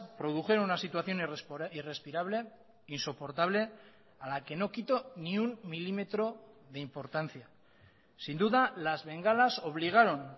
produjeron una situación irrespirable insoportable a la que no quito ni un milímetro de importancia sin duda las bengalas obligaron